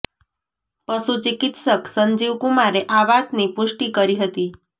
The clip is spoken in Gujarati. પશુ ચિકિત્સક સંજીવ કુમારે આ વાતની પૃષ્ટિ કરી હતી